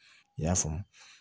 I y'a faamu